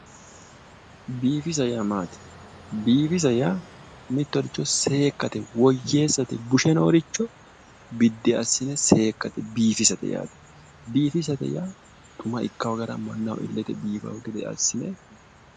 Biifisa ya maati? biifisa yaa mittoricho seekkate woyyeessate bushe nooricho biddi assi'ne seekkate biifisate yaate, biifisate yaa xuma ikka gara mannaho illete biifawo gede assi'ne.